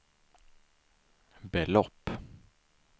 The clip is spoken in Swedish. belopp